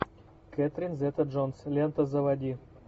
кэтрин зета джонс лента заводи